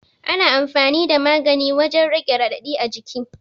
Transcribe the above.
Ana amfani da magani wajan rage raɗaɗi a jiki